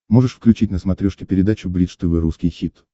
можешь включить на смотрешке передачу бридж тв русский хит